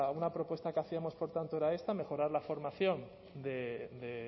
una propuesta que hacíamos por tanto era esta mejorar la formación de